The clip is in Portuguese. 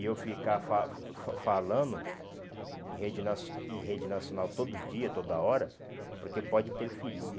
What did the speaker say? E eu ficar fa fa fa falando em rede nacio em rede nacional todo dia, toda hora, porque pode interferir.